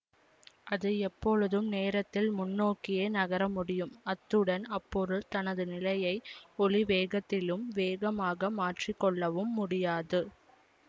அது எப்பொழுதும் நேரத்தில் முன்னோக்கியே நகர முடியும் அத்துடன் அப்பொருள் தனது நிலையை ஒளி வேகத்திலும் வேகமாக மாற்றி கொள்ளவும் முடியாது